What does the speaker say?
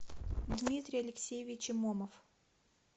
дмитрий алексеевич имомов